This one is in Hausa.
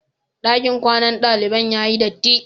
Ɗakin kwanan daliban ya yi dirti.